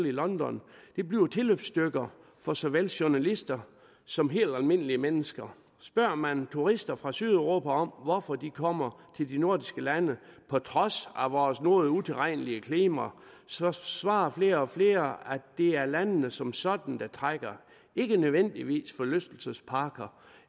i london bliver tilløbsstykker for såvel journalister som helt almindelige mennesker spørger man turister fra sydeuropa om hvorfor de kommer til de nordiske lande på trods af vores noget utilregnelige klima så svarer flere og flere at det er landene som sådan der trækker ikke nødvendigvis forlystelsesparker